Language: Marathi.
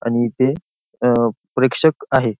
आणि ते अं प्रेक्षक आहेत.